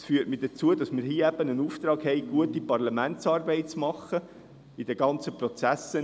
Dies führt mich dazu, dass wir den Auftrag haben, eine gute Parlamentsarbeit zu machen im Rahmen der ganzen Prozesse.